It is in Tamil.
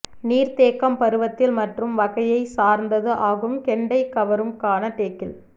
நீர்த்தேக்கம் பருவத்தில் மற்றும் வகையைச் சார்ந்தது ஆகும் கெண்டை கவரும் க்கான டேக்கில்